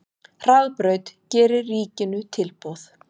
Hraðbraut gerir ríkinu tilboð